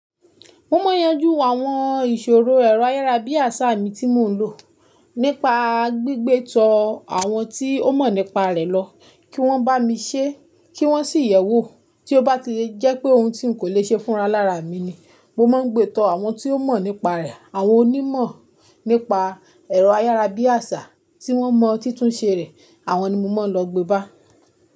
Mo máa ń yanjú àwọn ìṣòro ẹ̀rọ ayára bí àṣá mi tí mò ń lò, nípa gbígbé tọ àwọn tí ó mọ̀ nípa rẹ̀ lọ kí wọ́n bá mi ṣe, kí wọ́n sì yẹ̀ wò tí ó bá le jẹ́ pé òun tí n kò le ṣe fúnran lára mi ni. Mo máa gbé to àwon tó mò nípa rè àwon onimò nípa èrò àyàrábíàsà tí wón mo titún se re àwon ni mo máa lo gbé bá.